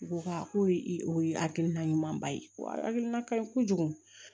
U ko a ko i o ye hakilina ɲumanba ye ko hakilina kaɲi kojugu